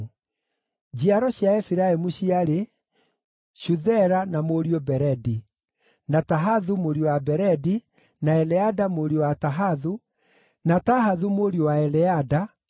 Njiaro cia Efiraimu ciarĩ: Shuthela na mũriũ Beredi, na Tahathu mũriũ wa Beredi, na Eleada mũriũ wa Tahathu, na Tahathu mũriũ wa Eleada, na mũriũ Zabadi, na Shuthela mũriũ wa Zabadi,